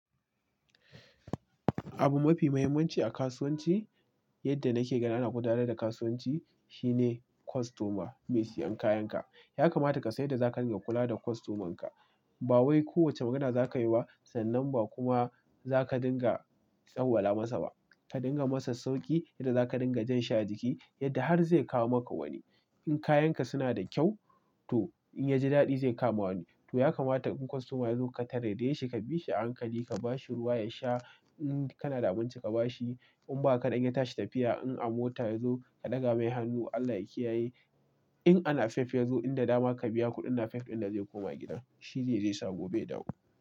Abu mafi muhimmanci a kasuwanci, yadda nake gani ana gudanar da kasuwanci shine kostoma, mai siyan kayanka. Yakamata ka san yadda za ka dinga kula da kostomanka. Ba wai ko wace magana za ka yi ba sannan ba kuma za ka dinga tsawala masa ba. Ka dinga masa sauki, yadda za ka dinga jan shi a jiki, yadda har zai kawo maka wani. In kayanka suna da kyau to in ya ji daɗi zai kama wani. To yakamata in kostoma ya zo ka taraye shi, ka biya shi hankali, ka ba shi ruwa ya sha. In kana da abinci ka ba shi. In ba kaɗan ya tashi tafiya in a mota ya zo, ka ɗaga mai hannu Allah ya kiyaye. In anafef ya zo, inda dama ka biya kuɗin nafef inda zai koma gidan. Shi ne zai sa gobe ya dawo.